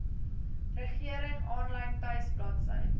regering aanlyn tuisbladsy